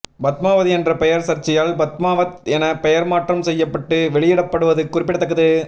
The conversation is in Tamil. பத்மாவதி என்ற பெயர் சர்ச்சையால் பத்மாவத் என பெயர் மாற்றம் செய்யப்பட்டு வெளியிடப்படுவது குறிப்பிடத்தக்கது